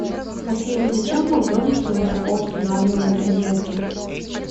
афина зачем в макдональдсе высоко устанавливают розетки